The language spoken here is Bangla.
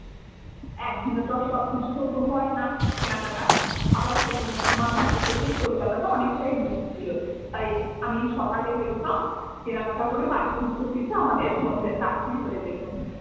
একদিনে তো সব কিছু আর হয় না কেনাকাটা আবার সেদিনে আমার বাড়ি থেকেই কলকাতাটা অনেকটাই দূর ছিল তাই আমি সকালে বেরোতাম কেনাকাটা করে বাড়ি ফিরতে ফিরতে আমাদের সন্ধে রাত্রি হয়ে যেত।